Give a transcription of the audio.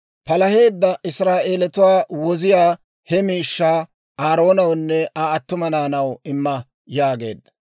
Palaheedda Israa'eelatuwaa woziyaa he miishshaa Aaroonawunne Aa attuma naanaw imma» yaageedda.